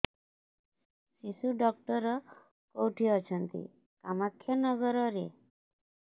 ଶିଶୁ ଡକ୍ଟର କୋଉଠି ଅଛନ୍ତି କାମାକ୍ଷାନଗରରେ